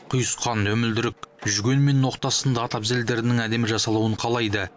құйысқан өмілдірік жүген мен ноқта сынды ат әбзелдерінің әдемі жасалуын қалайды